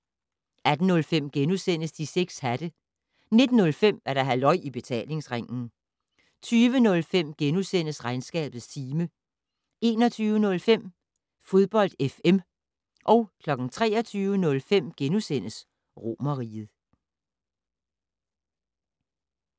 18:05: De 6 hatte * 19:05: Halløj I Betalingsringen 20:05: Regnskabets time * 21:05: Fodbold FM 23:05: Romerriget *